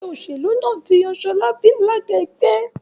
Ẹgbẹ́ òṣèlú náà tí yàn Shola bí alága ẹgbẹ́.